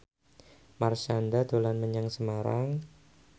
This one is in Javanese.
Marshanda dolan menyang Semarang